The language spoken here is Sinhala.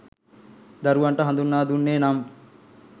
දරුවන්ට හඳුන්වා දුන්නේ නම්